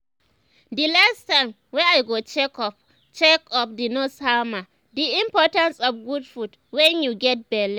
the last time wey i go check up check up the nurse hammer the importance of good food wen you get belle